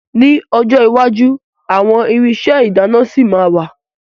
Ní ọjọ́ iwájú àwọn irinṣẹ́ ìdáná ṣì ma wà.